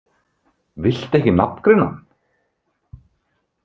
Viltu ekki nafngreina hann?